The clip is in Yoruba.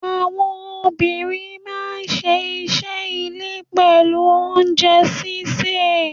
Àwọn obìnrin máa ń ṣe iṣẹ́ ilé pẹ̀lú oúnjẹ sísè.